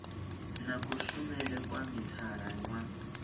na kushumele kwa mithara wa